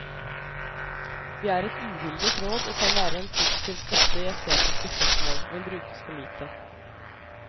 Vi er et uhildet råd og kan være en positiv støtte i estetiske spørsmål, men brukes for lite.